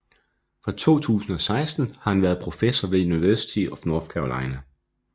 Fra 2016 har han været professor ved University of North Carolina